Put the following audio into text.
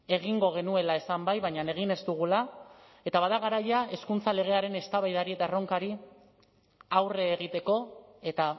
egingo genuela esan bai baina egin ez dugula eta bada garaia hezkuntza legearen eztabaidari eta erronkari aurre egiteko eta